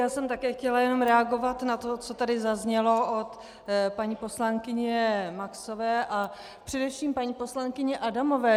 Já jsem také chtěla jenom reagovat na to, co tady zaznělo od paní poslankyně Maxové a především paní poslankyně Adamové.